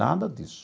Nada disso.